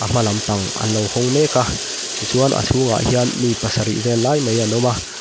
a hma lam pang an lo hawng mek a ti chuan a chhung ah hian mi pasarih vel lai mai anlo awm a.